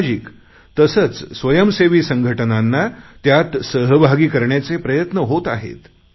सामाजिक तसेच स्वयंसेवी संघटनांना त्यात सहभागी करण्याचे प्रयत्न होत आहेत